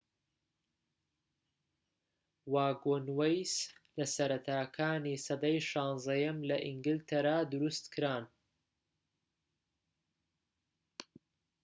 واگۆنوەیس لە سەرەتاکانی سەدەی 16م لە ئینگلترا دروستکران